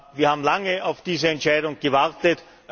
Wir haben lange auf diese Entscheidung gewartet.